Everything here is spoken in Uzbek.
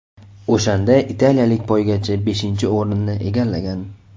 O‘shanda italiyalik poygachi beshinchi o‘rinni egallagan.